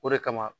O de kama